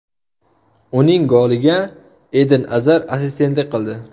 Uning goliga Eden Azar assistentlik qildi.